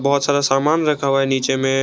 बहुत सारा सामान रखा हुआ है नीचे में।